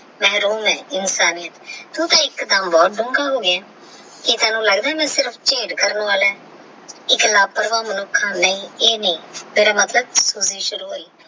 ਇਨਸਾਨੀਅਤ ਤੋਂ ਤਾ ਇੱਕ ਦਮ ਬਹੁਤ ਹੋ ਗਿਆ ਕੀ ਤੈਨੂੰ ਲੱਗਦਾ ਹੈ ਮੈਂ ਸਿਰਫ ਝੇਲ ਕਰਨਾ ਵਾਲਾ ਹੈ ਇੱਕ ਲਾਪਰਵਾਹ ਮਨੁੱਖ ਹਾਂ ਨਹੀਂ ਇਹ ਨਹੀਂ ਤੇਰਾ ਮਤਲਬ ਕੀ ਸ਼ੁਰੂ ਹੋਇ।